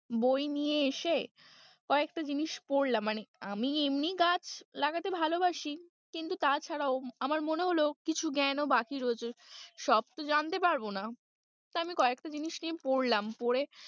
বই নিয়ে এসে কয়েকটা জিনিস পড়লাম, মানে আমি এমনি গাছ লাগাতে ভালোবাসি কিন্তু তাছাড়াও আমার মনে হল কিছু জ্ঞান ও বাকি রয়েছে সব তো জানতে পারব না, তা আমি কয়েকটা জিনিস নিয়ে পড়লাম, পড়ে।